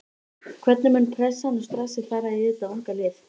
Hvernig mun pressan og stressið fara í þetta unga lið?